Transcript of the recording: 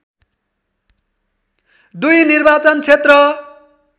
२ निर्वाचन क्षेत्र